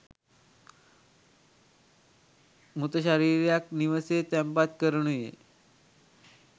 මෘතශරීරයක් නිවෙසේ තැන්පත් කරනුයේ